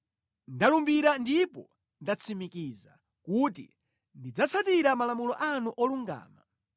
Ndalumbira ndipo ndatsimikiza, kuti ndidzatsatira malamulo anu olungama.